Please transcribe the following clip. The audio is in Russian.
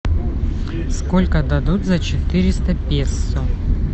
сколько дадут за четыреста песо